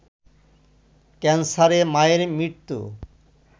ক্যান্সারে মায়ের মৃত্যু